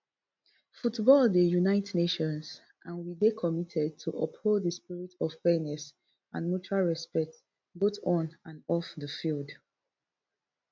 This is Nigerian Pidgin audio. football dey unite nations and we dey committed to uphold di spirit of fairness and mutual respect both on and off di field